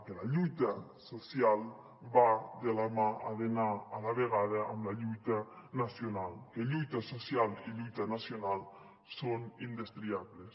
que la lluita social va de la mà ha d’anar a la vegada amb la lluita nacional que lluita social i lluita nacional són indestriables